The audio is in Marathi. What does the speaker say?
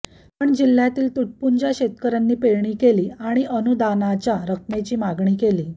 पण जिल्हय़ातील तुटपुंज्या शेतकऱयांनी पेरणी केली आणि अनुदानाच्या रकमेची मागणी केली